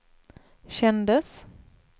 kändes